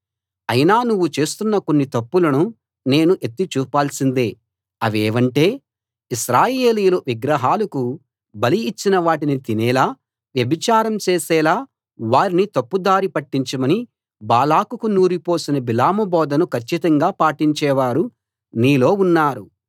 అయినా నువ్వు చేస్తున్న కొన్ని తప్పులను నేను ఎత్తి చూపాల్సిందే అవేవంటే ఇశ్రాయేలీయులు విగ్రహాలకు బలి ఇచ్చిన వాటిని తినేలా వ్యభిచారం చేసేలా వారిని తప్పుదారి పట్టించమని బాలాకుకు నూరిపోసిన బిలాము బోధను ఖచ్చితంగా పాటించేవారు నీలో ఉన్నారు